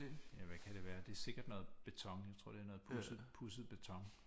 Ja hvad kan det være det er sikkert noget beton jeg tror det er noget pudset pudset beton